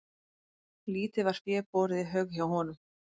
Lítið var fé borið í haug hjá honum.